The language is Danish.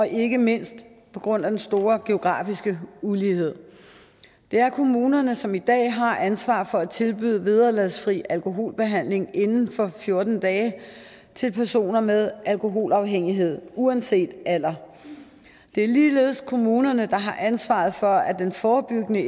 ikke mindst på grund af den store geografiske ulighed det er kommunerne som i dag har ansvaret for at tilbyde vederlagsfri alkoholbehandling inden for fjorten dage til personer med alkoholafhængighed uanset alder det er ligeledes kommunerne der har ansvaret for den forebyggende